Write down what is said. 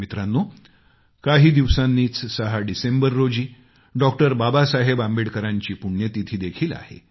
मित्रांनो काही दिवसांनीच सहा डिसेंबर रोजी डॉ बाबासाहेब आंबेडकरांची पुण्यतिथी देखील आहे